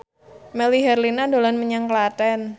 Melly Herlina dolan menyang Klaten